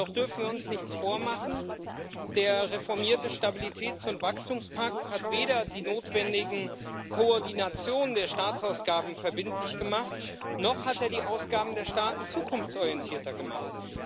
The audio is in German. Doch dürfen wir uns nichts vormachen Der reformierte Stabilitäts und Wachstumspakt hat weder die notwendige Koordination der Staatsausgaben verbindlich gemacht, noch hat er die Ausgaben der Staaten zukunftsorientierter gemacht.